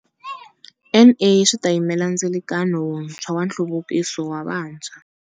NA swi ta yimela ndzilikano wuntshwa wa nhluvukiso wa vantshwa.